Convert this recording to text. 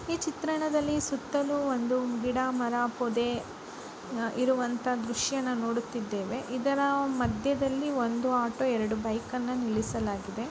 ಈ ಚಿತ್ರಣದಲ್ಲಿ ಸುತ್ತಲು ಒಂದು ಗಿಡ ಮರ ಪೊದೆ ಇರುವಂತ ದೃಶ್ಯವನ್ನು ನೋಡುತ್ತಿದೇವೆ. ಇದರ ಮಧ್ಯದಲ್ಲಿ ಒಂದು ಆಟೋ ಎರಡು ಬೈಕ್ ಅನ್ನ ನಿಲ್ಲಿಸಲಾಗಿದೆ.